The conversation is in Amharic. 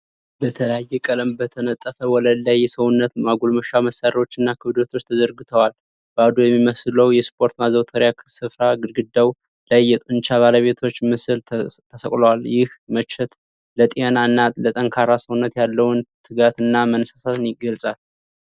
በተለያየ ቀለም በተነጠፈ ወለል ላይ የሰውነት ማጎልመሻ መሳሪያዎችና ክብደቶች ተዘርግተዋል። ባዶ የሚመስለው የስፖርት ማዘውተሪያ ሥፍራ ግድግዳው ላይ የጡንቻ ባለቤቶች ምስሎች ተሰቅለዋል። ይህ መቼት ለጤና እና ለጠንካራ ሰውነት ያለውን ትጋትና መነሳሳትን ይገልጻል።